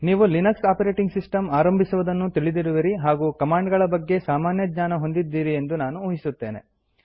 ನೀವು Linux operating system ಆರಂಭಿಸುವುದನ್ನು ತಿಳಿದಿರುವಿರಿ ಹಾಗೂ ಕಮಾಂಡ್ ಗಳ ಬಗ್ಗೆ ಸಾಮಾನ್ಯ ಜ್ಞಾನ ಹೊಂದಿದ್ದೀರಿ ಎಂದು ನಾನು ಊಹಿಸುತ್ತೇನೆ